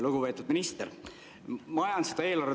Lugupeetud minister!